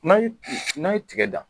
N'a ye n'a ye tiga dan